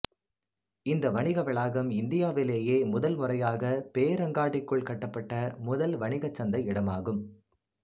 இந்த வணிக வளாகம் இந்தியாவிலேயே முதல் முறையாக பேரங்காடிக்குள் கட்டப்பட்ட முதல் வணிச் சந்தை இடமாகும்